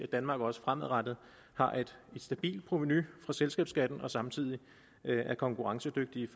danmark også fremadrettet har et stabilt provenu for selskabsskatten og selskaberne samtidig er konkurrencedygtige